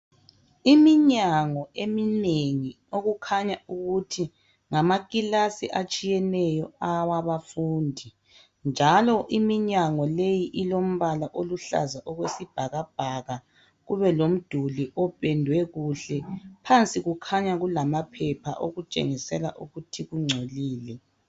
Imnyango eminengi okukhanya ukuthi ngamakilasi atshiyeneyo awabafundi njalo uminyango leyi ilombala oluhlaza okwesibhakabhaka kube lomduli opendwe kuhle phansi kukhanya kulama phepha okutshengisela ukuthi kungcolile.